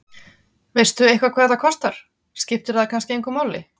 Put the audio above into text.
Páll: Veistu eitthvað hvað þetta kostar, skiptir það kannski engu máli?